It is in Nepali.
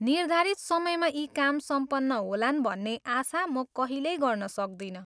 निर्धारित समयमा यी काम सम्पन्न होलान् भन्ने आशा म कहिल्यै गर्न सक्दिनँ ।